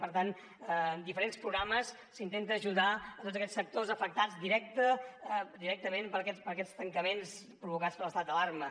per tant en diferents programes s’intenta ajudar tots aquests sectors afectats directament per aquests tancaments provocats per l’estat d’alarma